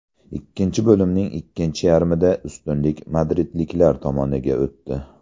Ikkinchi bo‘limning ikkinchi yarmida ustunlik madridliklar tomoniga o‘tdi.